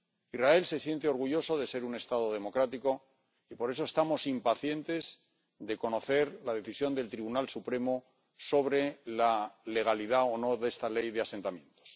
Israel se siente orgulloso de ser un Estado democrático y por eso estamos impacientes de conocer la decisión del Tribunal Supremo sobre la legalidad o no de esta ley de asentamientos.